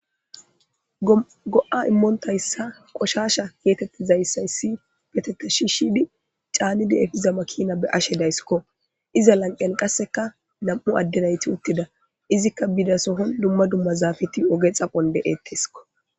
Go7a immontayssa qoshasha geetettizayssayssi betete shi shidi caanidi efiza makina be ashe dayssikko iza lanqen qasseka nam7u addenayti uttida izikka bidasohon dumma dumma zaafeti oge xaphon de7ettesikko